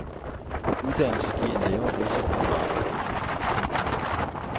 Uddannelse giver en lavere risiko for arbejdsløshed. punktum